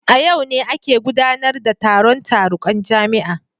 A yau ne ake gudanar da taron tarukan jami'a